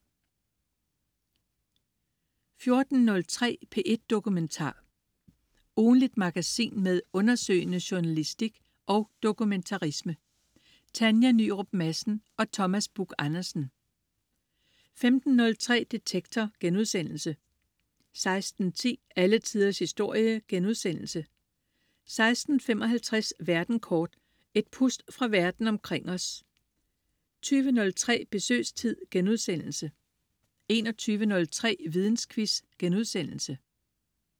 14.03 P1 Dokumentar. Ugentligt magasin med undersøgende journalistik og dokumentarisme. Tanja Nyrup Madsen og Thomas Buch-Andersen 15.03 Detektor* 16.10 Alle Tiders historie* 16.55 Verden kort. Et pust fra Verden omkring os 20.03 Besøgstid* 21.03 Vidensquiz*